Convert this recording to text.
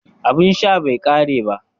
Abin sha bai kare ba